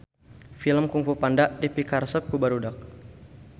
Film Kungfu Panda dipikaresep ku barudak